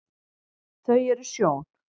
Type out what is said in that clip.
þau eru sjón